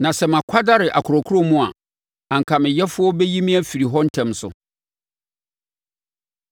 Na sɛ makwadare akorɔkorɔ mu a, anka me Yɛfoɔ bɛyi me afiri hɔ ntɛm so.